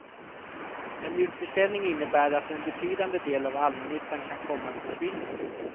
En utförsäljning innebär att en betydande del av allmännyttan kan komma att försvinna.